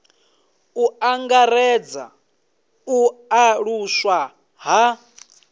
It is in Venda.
u angaredza u aluswa ha